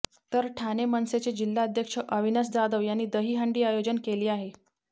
तर ठाणे मनसेचे जिल्हाध्यक्ष अविनाश जाधव यांनी दहीहंडी आयोजन केली आहे